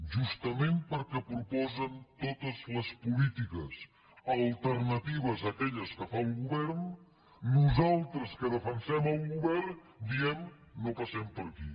justament perquè proposen totes les polítiques alternatives a aquelles que fa el govern nosaltres que defensem el govern diem no passem per aquí